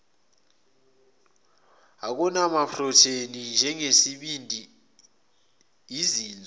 okunamaprotheni njengesibindi izinso